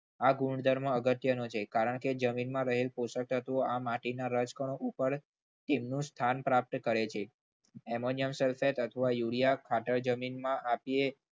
આ ગુણધર્મ અગત્યનો છે કારણ કે જમીનમાં રહેલ પોષક તત્વો આ માટીના રજકણો ઉપર તેમનું સ્થાન પ્રાપ્ત કરે છે. એમોનિયા સલ્ફેટ અથવા યુરિયા ખાતર જમીનમાં આપીએ.